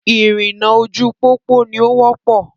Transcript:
Ìrìnnà ojú pópó ni o wọ́pọ̀.